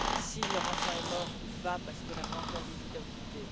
si leur enfant est mort ou non parce qu'on n'a pas encore les identités.